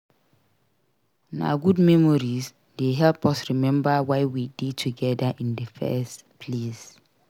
Na good memories dey help us remember why we dey together in the first place.